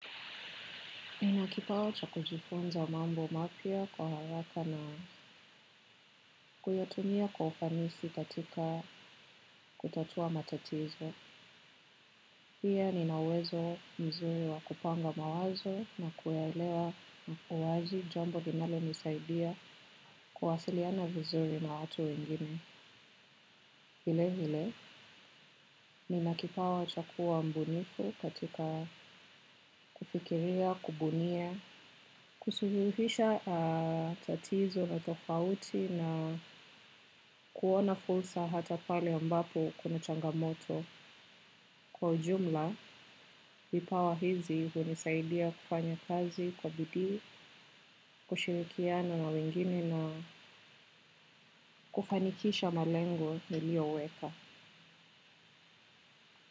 Nina kipawa cha kujifunza mambo mapya kwa haraka na kuyatumia kwa ufanisi katika kutatua matatizo. Pia nina uwezo mzuri wa kupanga mawazo na kuelewa uwazi jambo linalonisaidia kuwasiliana vizuri na watu wengine. Vile vile, nina kipawa cha kuwa mbunifu katika kufikiria, kubunia, kusuluhisha tatizo na tofauti na kuona fursa hata pale ambapo kuna changamoto. Kwa ujumla, vipawa hizi hunisaidia kufanya kazi kwa bidii, kushirikiana na wengine na kufanikisha malengo niliyoweka.